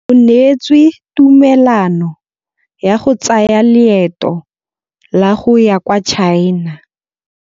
O neetswe tumalanô ya go tsaya loetô la go ya kwa China.